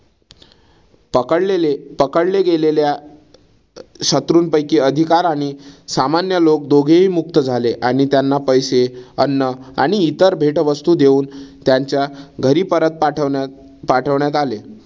पकडलेले पकडले गेलेल्या शत्रूनपैकी अधिकारी आणि सामान्य लोक दोघेही मुक्त झाले. आणि त्यांना पैसे, अन्न आणि इतर भेटवस्तू देऊन त्यांच्या घरी परत पाठवण्यात पाठवण्यात आले.